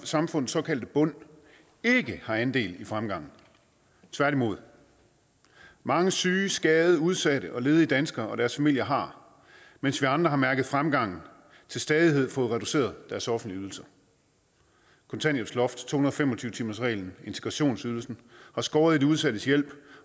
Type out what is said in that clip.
samfundets såkaldte bund ikke har andel i fremgangen tværtimod mange syge skadede udsatte og ledige danskere og deres familier har mens vi andre har mærket fremgangen til stadighed fået reduceret deres offentlige ydelser kontanthjælpsloftet to hundrede og fem og tyve timersreglen integrationsydelsen har skåret i de udsattes hjælp